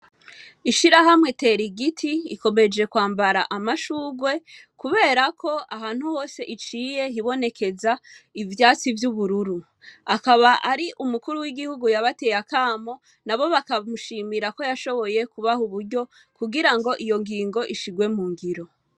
Ishirahamwe Terigiti rikomeje kwambara amashurwe kubera KO ahantu hose iciye hibonekeza ivyatsi vy'ubururu. Akaba ari Umukuru w'igihugu yabateye Akamo, nabo bakamushimira KO yashoboye kubaha uburyo kugira ngo iyo ngingo ishirwe mungiro.